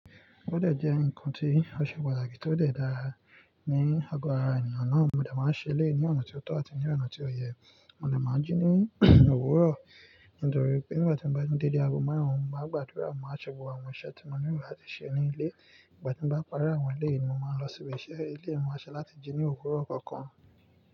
Ó dẹ̀ jẹ́ ǹkan tí ó ṣe pàtàkì tó dẹ̀ dára ní ago ara ènìyàn náà. Mo de máa ń ṣe eleyi ní ọ̀nà tí ó tọ àti ní ọ̀nà tí ó yẹ. Mo lè máa jí ní òwúrọ̀, nítorí pé ìgbà tí mo bá jí ní dede ago márùn-ún, máa gbàdúrà, máa ṣe gbogbo àwọn iṣẹ́ tí mo nílò láti ṣe ní ilé. Ìgbà tí mo bá pari àwọn eleyìí ni mo máa lọ sí ibi iṣẹ́ éléyì máa sè láti jí ní òwúrọ̀ kankan.